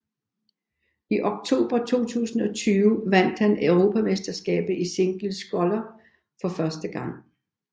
I oktober 2020 vandt han europamesterskabet i single sculler for første gang